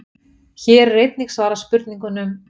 Hér er einnig svarað spurningunum: